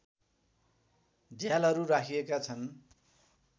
झ्यालहरू राखिएका छन्